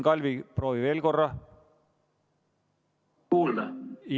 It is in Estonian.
Kalvi, proovi veel korra!